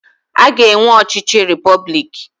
A ga-enwe ọchịchị repọblik.